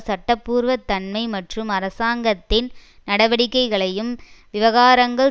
சட்ட பூர்வ தன்மை மற்றும் அரசாங்கத்தின் நடவடிக்கைகளையும் விவகாரங்கள்